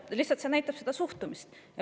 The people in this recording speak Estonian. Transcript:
See lihtsalt näitab suhtumist.